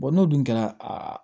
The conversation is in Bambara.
n'o dun kɛra a